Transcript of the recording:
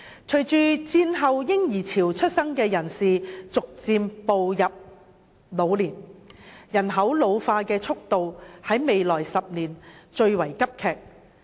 隨着在戰後嬰兒潮出生的人士逐漸步入老年，人口老化的速度在未來10年會最為急劇。